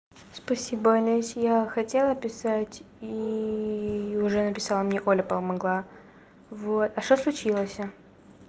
спасибо аня если я хотела писать иии уже написала мне оля помогла вот а что случилось я